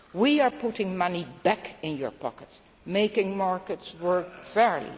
We are putting money back in your pocket and making markets work